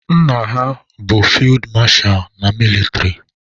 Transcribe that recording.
Nna ha bụ fid masha na mịlịtrị